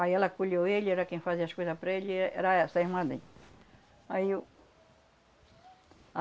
Aí ela acolheu ele, era quem fazia as coisa para ele, e era essa irmã dele. Aí eu,